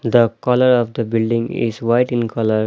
the colour of the building is white in colour.